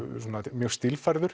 mjög stílfærður